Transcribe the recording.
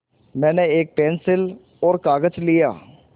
मैंने एक पेन्सिल और कागज़ लिया